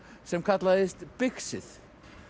sem kallaðist bixið